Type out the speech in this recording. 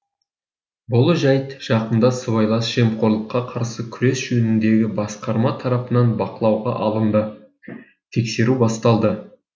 бұл жәйт жақында сыбайлас жемқорлыққа қарсы күрес жөніндегі басқарма тарапынан бақылауға алынды тексеру басталды